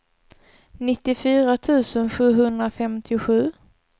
nittiofyra tusen sjuhundrafemtiosju